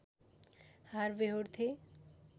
हार व्यहोर्थे